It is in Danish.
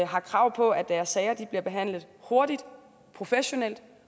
har krav på at deres sager bliver behandlet hurtigt professionelt